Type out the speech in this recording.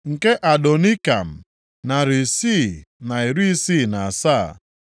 nke Adonikam, narị isii na iri isii na asaa (667),